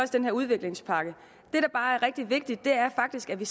den her udviklingspakke det der bare er rigtig vigtigt er faktisk at vi